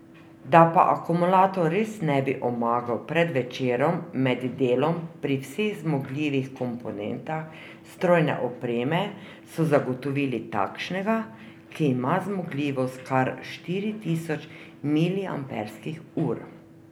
Da pa akumulator res ne bi omagal pred večerom med delom pri vseh zmogljivih komponentah strojne opreme, so zagotovili takšnega, ki ima zmogljivost kar štiri tisoč miliamperskih ur.